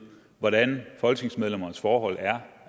hvordan folketingsmedlemmernes forhold er